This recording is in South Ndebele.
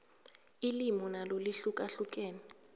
ilimi nalo lihlukahlukene